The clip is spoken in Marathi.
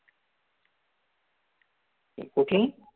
कुठली